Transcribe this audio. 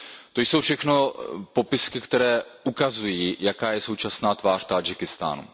To jsou všechno popisky, které ukazují, jaká je současná tvář Tádžikistánu.